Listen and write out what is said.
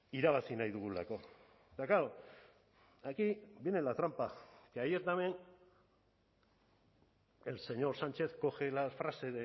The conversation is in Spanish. irabazi nahi dugulako eta claro aquí viene la trampa que ayer también el señor sánchez coge la frase